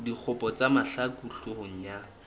dikgopo tsa mahlaku hloohong ya